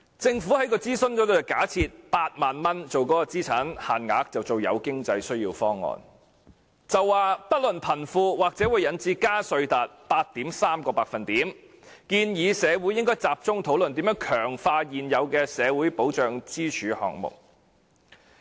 政府在諮詢中假設8萬元為資產限額，定為"有經濟需要"方案，說"不論貧富"方案或會引致加稅 8.3%， 建議社會應該集中討論如何強化現有的社會保障支柱項目。